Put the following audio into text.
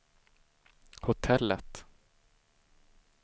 hotellet